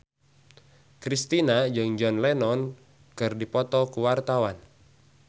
Kristina jeung John Lennon keur dipoto ku wartawan